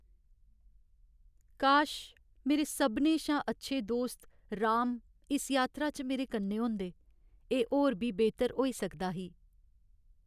काश मेरे सभनें शा अच्छे दोस्त, राम, इस यात्रा च मेरे कन्नै होंदे। एह् होर बी बेह्तर होई सकदा ही।